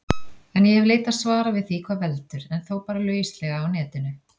En ég hef leitað svara við því hvað veldur, en þó bara lauslega á Netinu.